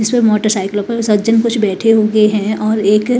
जिस पर मोटरसाइकिल पर सज्जन कुछ बैठे हुए हैं और एक--